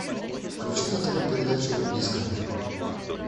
включи на тв передачу дискавери